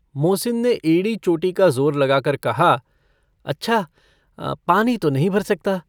मोहसिन ने एड़ी-चोटी का ज़ोर लगाकर कहा - अच्छा, पानी तो नहीं भर सकता।